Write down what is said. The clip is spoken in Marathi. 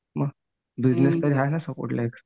म बिजनेस तरी हाय ना सपोर्टला एक.